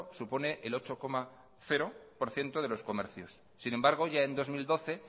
supone el ocho por ciento de los comercio sin embargo ya en dos mil doce